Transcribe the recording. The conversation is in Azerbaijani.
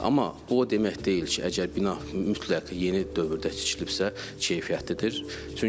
Amma bu o demək deyil ki, əgər bina mütləq yeni dövrdə tikilibsə, keyfiyyətlidir.